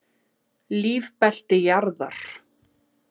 Lífbelti jarðar.